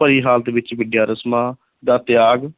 ਭਰੀ ਹਾਲਤ ਵਿੱਚ ਵਿੱਦਿਆ ਰਸਮਾਂ ਦਾ ਤਿਆਗ,